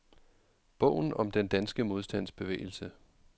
Bogen om den danske modstandsbevægelse.